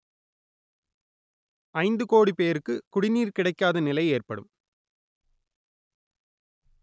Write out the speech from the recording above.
ஐந்து கோடி பேருக்கு குடிநீர் கிடைக்காத நிலை ஏற்படும்